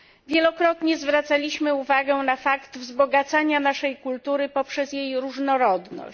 Wielokrotnie zwracaliśmy uwagę na fakt wzbogacania naszej kultury poprzez jej różnorodność.